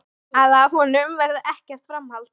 Að af honum verði ekkert framhald.